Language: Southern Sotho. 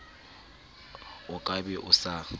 o ka be o sa